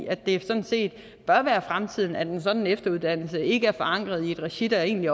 at det sådan set bør være fremtiden at en sådan efteruddannelse ikke er forankret i et regi der egentlig